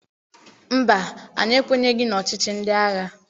Mba, anyị ekwenyeghị n'ọchịchị ndị agha.